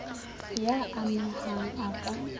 y a mehang a ka